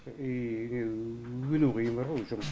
и не өнуі қиын бар ғой жұмыс